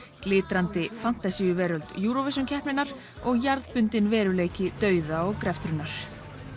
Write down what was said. glitrandi fantasíuveröld Eurovisionkeppninnar og jarðbundinn veruleiki dauða og greftrunar